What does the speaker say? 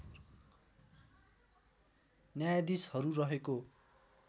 न्यायाधीशहरू रहेको